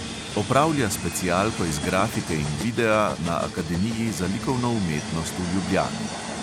Opravlja specialko iz grafike in videa na akademiji za likovno umetnost v ljubljani.